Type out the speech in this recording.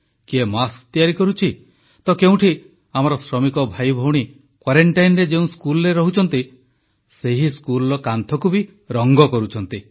କିଏ ମାସ୍କ ତିଆରି କରୁଛି ତ କେଉଁଠି ଆମର ଶ୍ରମିକ ଭାଇଭଉଣୀ କ୍ୱାରେନଟାଇନରେ ଯେଉଁ ସ୍କୁଲରେ ରହୁଛନ୍ତି ସେହି ସ୍କୁଲର କାନ୍ଥକୁ ରଂଗ କରୁଛନ୍ତି